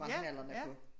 Brændt nallerne på